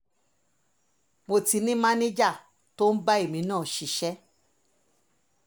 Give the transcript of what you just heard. ọlọ́run dé ṣe é mọ́ ti ní máníjà tó ń bá èmi náà ṣiṣẹ́